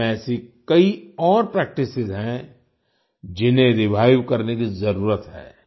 भारत में ऐसी कई और प्रैक्टिस हैं जिन्हें रिवाइव करने की जरुरत है